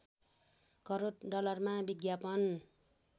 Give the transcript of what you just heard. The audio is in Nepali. करोड डलरमा विज्ञापन